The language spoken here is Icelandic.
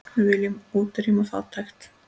Við viljum útrýma fátækt.